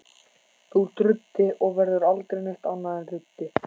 Þú ert ruddi og verður aldrei neitt annað en ruddi.